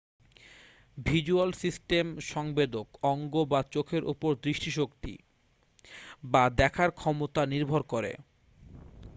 visual system সংবেদক অঙ্গ বা চোখের উপর দৃষ্টিশক্তি বা দেখার ক্ষমতা নির্ভর করে